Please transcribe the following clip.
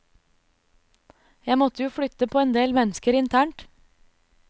Jeg måtte jo flytte på en del mennesker internt.